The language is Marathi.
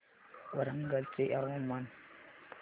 वरंगल चे हवामान